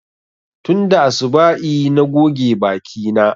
Tunda asuba'i na goge baki na